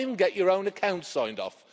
You can't even get your own accounts signed